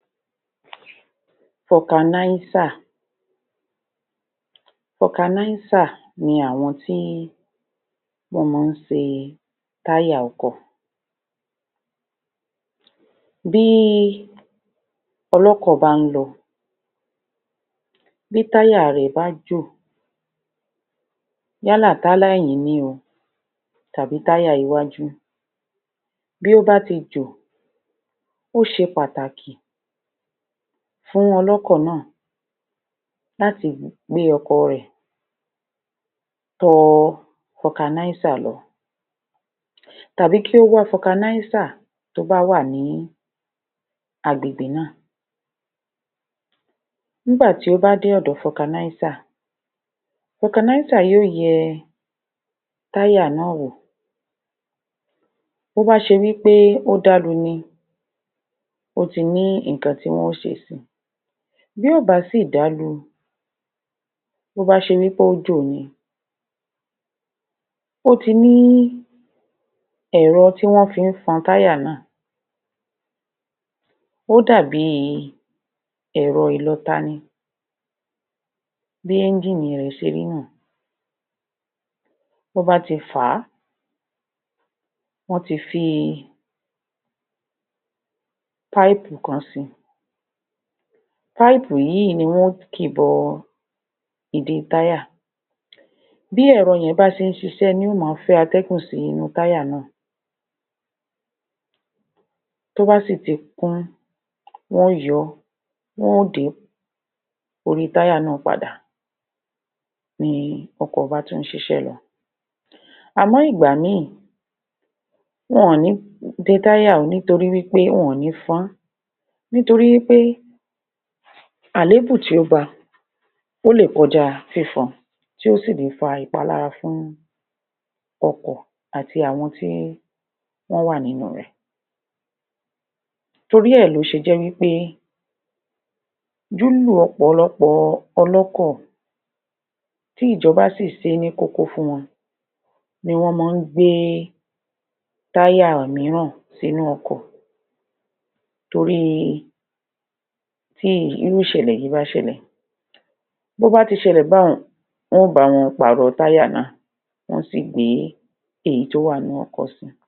Fọganáísà Fọganáísà ni àwọn tí wọ́n máa ń ṣe táyà ọkọ̀ bíi ọlọ́kọ̀ bá ń lọ, bí táyà rẹ̀ bá jò yálà táyà ẹ̀yìn ni o tàbí táyà iwájú, bí ó bá ti jọ̀ ó ṣe pàtàkì fún ọlọ́kọ̀ náà láti gbé ọkọ̀ rẹ̀ tọ fọganásà lọ tàbí kí ó wá fọganásà tó bá wà ní agbègbè náà nígbà tí ó bá dé ọ̀dọ fọganásà, fọganásà yó yẹ táyà náà wò tó ba ṣe wí pé ó dálu ni, ó ti ní nǹkan tí wọ́n ń ṣe si, bí ò bá si dálu, bó bá ṣe wí pé ó jò ni, ó ti ní ẹ̀rọ̀ tí wọ́n fi ń fun táyà náà ó dàbi ẹ̀rọ ìlọta ni, bí ẹ́níjì rẹ̀ ṣe rí nìyẹn bọ́ bá ti fàá, tọ́ ti fi páìpù kan si, páìpù yìí ni wọn ó kì bọ ìdi táyà, bí ẹ̀rọ yẹn bá ṣe n ṣiṣẹ́ ni yó máa fẹ́ atẹ́gùn sí inú táyà náà tó bà si ti kún, wọn ó yọ ọ́ wọn ó de orí táyà òun náà padà ni ọkọ̀ bá tún ṣiṣẹ́ lọ àmọ́ ìgbà mì, wọn ò ní de táyà o nítorí wí pé wọn ò ní fọ́n, nítorí wí pé àléébù tí ó ba, ó lè kọjá fífọn tí ó si le fa ìpalára fún ọkọ̀ àti àwọn tí wọ́n wà nínú rè torí è ló ṣe jẹ́ wí pé lílò ọ̀pọ̀lọpọ̀ ọlọ́kọ̀ tí ìjọba sì ṣẹ́ ní kókó fún wọn, ni wọ́n máa ń gbé táyà mìíràn sínú ọkọ̀ torí tí irú ìṣẹ̀lẹ̀ yìí bá ṣẹlẹ̀ bó bá ti ṣẹlẹ̀ báhun, wọ́n ba wọn pàrọ̀ tàyá náà, wọ́n á sì gbé ìyí tó wà nínú ọkọ̀ si.